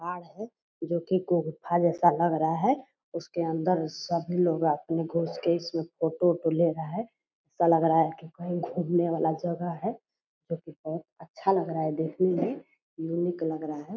पहाड़ है जो की गुफा जैसा लग रहा है। उसके अंदर सभी लोग रात में घुस के इसमें फोटो उटो ले रहा है। ऐसा लग रहा है की कोई घूमने वाला जगह है जो की बहुत अच्छा लग रहा है देखने में। यूनिक लग रहा है।